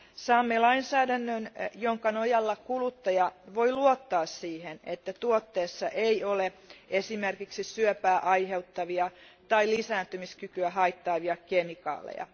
Saamme lainsäädännön, jonka nojalla kuluttaja voi luottaa siihen, että tuotteessa ei ole esimerkiksi syöpää aiheuttavia tai lisääntymiskykyä haittaavia kemikaaleja.